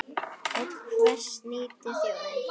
Og hvers nýtur þjóðin?